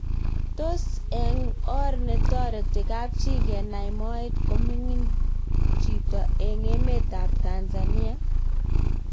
Tos, eng or ne netoreti kapchii kenai moet kominimg cbito eng emet ap. Tanzania?